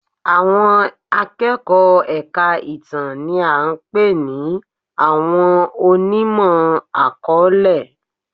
Àwọn akẹ́kọ̀ọ́ èka ìtàn ni a pè ní àwọn onímọ̀-akọọlẹ.